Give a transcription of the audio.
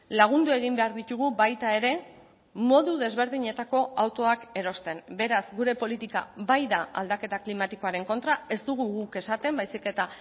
lagundu egin behar ditugu baita ere modu desberdinetako autoak erosten beraz gure politika bai da aldaketa klimatikoaren kontra ez dugu guk esaten baizik eta